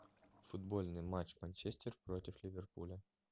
футбольный матч манчестер против ливерпуля